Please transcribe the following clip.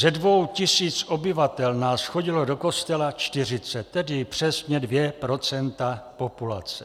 Ze dvou tisíc obyvatel nás chodilo do kostela čtyřicet, tedy přesně dvě procenta populace.